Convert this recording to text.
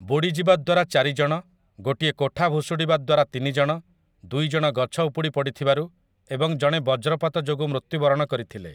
ବୁଡ଼ିଯିବା ଦ୍ୱାରା ଚାରିଜଣ, ଗୋଟିଏ କୋଠା ଭୁଶୁଡ଼ିବା ଦ୍ୱାରା ତିନିଜଣ, ଦୁଇଜଣ ଗଛ ଉପୁଡ଼ି ପଡ଼ିଥିବାରୁ ଏବଂ ଜଣେ ବଜ୍ରପାତ ଯୋଗୁଁ ମୃତ୍ୟୁବରଣ କରିଥିଲେ ।